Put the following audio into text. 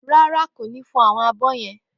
Ràrá, kó nì fọ awọn àbọ yen?